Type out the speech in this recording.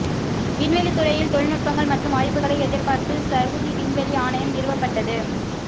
விண்வெளித் துறையில் தொழில்நுட்பங்கள் மற்றும் வாய்ப்புகளை எதிர்பார்த்து சவுதி விண்வெளி ஆணையம் நிறுவப்பட்டது